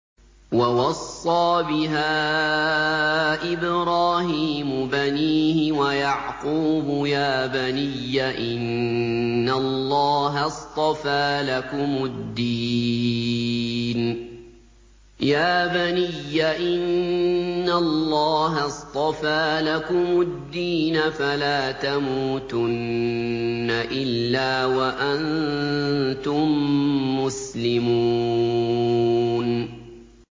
وَوَصَّىٰ بِهَا إِبْرَاهِيمُ بَنِيهِ وَيَعْقُوبُ يَا بَنِيَّ إِنَّ اللَّهَ اصْطَفَىٰ لَكُمُ الدِّينَ فَلَا تَمُوتُنَّ إِلَّا وَأَنتُم مُّسْلِمُونَ